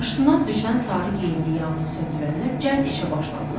Maşından düşən sarı geyimli yanğın söndürənlər cəld işə başladılar.